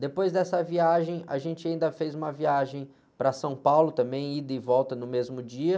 Depois dessa viagem, a gente ainda fez uma viagem para São Paulo também, ida e volta no mesmo dia.